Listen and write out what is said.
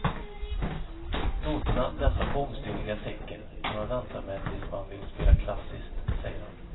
Noterna, dessa bångstyriga tecken, kan man vänta med tills man vill spela klassiskt, säger han.